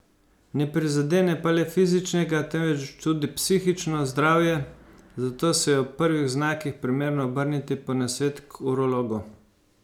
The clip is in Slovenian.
Ne prizadene pa le fizičnega, temveč tudi psihično zdravje, zato se je ob prvih znakih primerno obrniti po nasvet k urologu.